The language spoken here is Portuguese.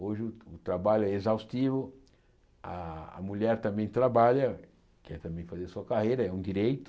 Hoje o trabalho é exaustivo, a a mulher também trabalha, quer também fazer sua carreira, é um direito,